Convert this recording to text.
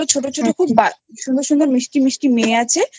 খুব সুন্দর সুন্দর মিষ্টি মিষ্টি মেয়ে আছে। হ্যাঁ হ্যাঁ